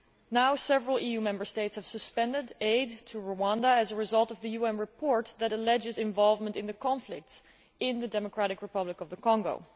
Now several EU Member States have suspended aid to Rwanda as a result of the UN report that alleges involvement in the conflicts in the Democratic Republic of the Congo.